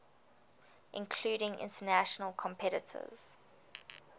including international competitors